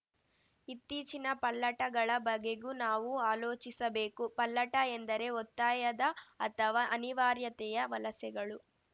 ಇತ್ತೀಚಿನ ಪಲ್ಲಟಗಳ ಬಗೆಗೂ ನಾವು ಆಲೋಚಿಸಬೇಕು ಪಲ್ಲಟ ಎಂದರೆ ಒತ್ತಾಯದ ಅಥವಾ ಅನಿವಾರ್ಯತೆಯ ವಲಸೆಗಳು